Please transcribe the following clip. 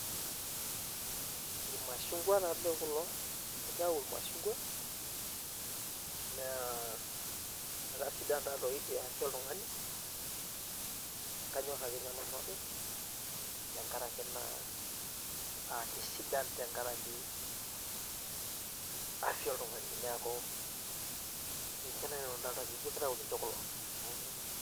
irmashungua tadii kulo. kitau irmashungua. naa akasidan taa doi te afya oltungani, ekanyor ake ninye nanu openy, tenkaraki naa aakisidan tenkaraki afya oltungani neeku ninche naaji nanu adolita ajo ijo kitayu ninche kulo.